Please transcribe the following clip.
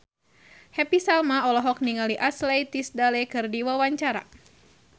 Happy Salma olohok ningali Ashley Tisdale keur diwawancara